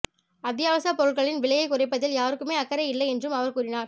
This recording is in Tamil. அத்தியாவசியப் பொருள்களின் விலையை குறைப்பதில் யாருக்குமே அக்கறை இல்லை என்றும் அவர் கூறினார்